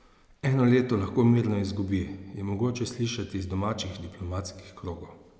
Eno leto lahko mirno izgubi, je mogoče slišati iz domačih diplomatskih krogov.